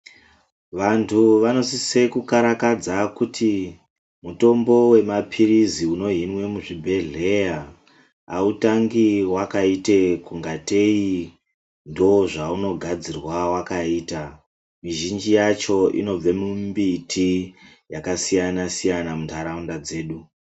Vantu vanosise kukarakadza kuti mutombo wemapilizi unohinwe muzvibhehleya autangi wakaita kungatei ndozvaunogadzirwa wakaita. Mizhinji yacho unobva mumbiti yakasiyana siyana muntaraunda dzedu.